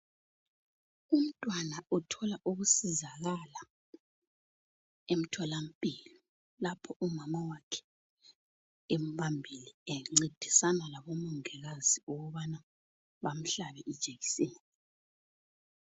Umtwana othola ukusizakala emtholampilo lapho umama wakhe emubambile encedisana labomongikazi ukubana bamuhlabe ijekiseni.